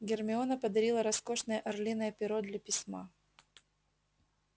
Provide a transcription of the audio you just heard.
гермиона подарила роскошное орлиное перо для письма